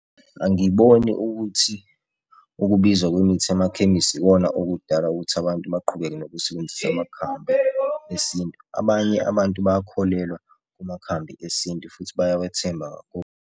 Angiboni ukuthi ukubiza kwemithi emakhemisi ikona okudala ukuthi abantu baqhubeke nokusebenzisa amakhambi esintu. Abanye abantu bayakholelwa kumakhambi esintu futhi bayawethemba .